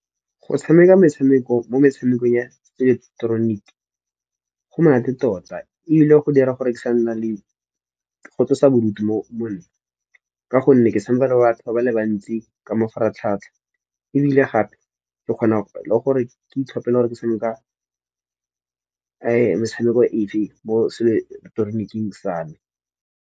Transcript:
Go tshameka metshameko mo metshamekong ya ileketeroniki go monate tota ebile go dira gore ke sa nna le go tlosa bodutu mo monna. Ka gonne ke tshameka le batho ba ba le bantsi ka mafaratlhatlha, ebile gape ke kgona le gore ke itlhopele gore ke tshameka metshameko e feng mo seileketoroniki sa me.